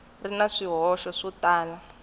ri na swihoxo swo tala